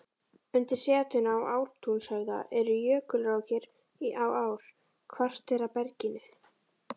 Undir setinu í Ártúnshöfða eru jökulrákir á ár-kvartera berginu.